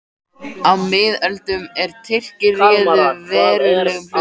Á miðöldum, er Tyrkir réðu verulegum hluta